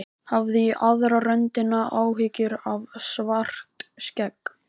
Hafði í aðra röndina áhyggjur af Svartskegg.